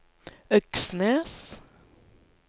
Øksnes